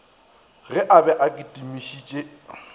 ge a be a kitimišitše